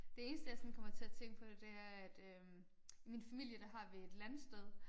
Det eneste jeg sådan kommer til at tænke på det er at øh i min familie der har vi et landsted